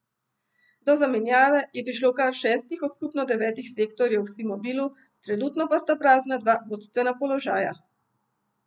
Do zamenjave je prišlo v kar šestih od skupno devetih sektorjev v Simobilu, trenutno pa sta prazna dva vodstvena položaja.